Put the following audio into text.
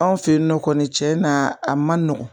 Anw fe yen nɔ kɔni cɛ na a ma nɔgɔn